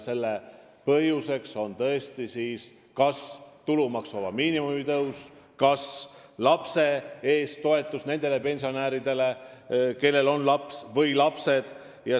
Selle põhjuseks on tulumaksuvaba miinimumi tõus või toetus nendele pensionäridele, kellel on laps või lapsed.